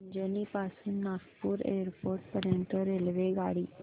अजनी पासून नागपूर एअरपोर्ट पर्यंत रेल्वेगाडी